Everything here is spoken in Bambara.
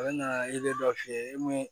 A bɛ na i bɛ dɔ f'i ye e mun